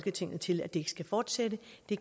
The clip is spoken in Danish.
i